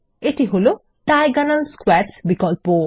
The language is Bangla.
এটি হলো ডায়াগোনাল স্কোয়ারস বিকল্প